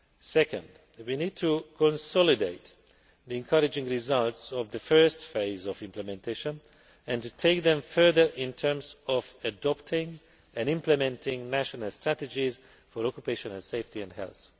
Second, we need to consolidate the encouraging results of the first phase of implementation and to take them further in terms of adopting and implementing national strategies for occupational safety and health.